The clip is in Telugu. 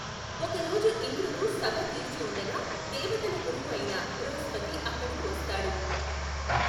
ఒకరోజు ఇంద్రుడు సభ తీర్చి ఉండగా దేవతల గురువు అయిన బృహస్పతి అక్కడకు వస్తాడు.